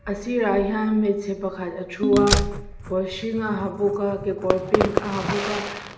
a sirah hian hmeichhe pakhat a thu a kawr hring a ha bawka kekawr pink a ha bawka--